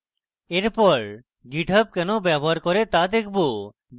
এরপর github কেন ব্যবহার করে তা দেখবো